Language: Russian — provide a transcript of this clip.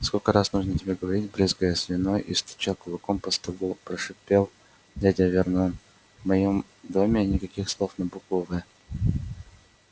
сколько раз нужно тебе говорить брызгая слюной и стуча кулаком по столу прошипел дядя вернон в моём доме никаких слов на букву в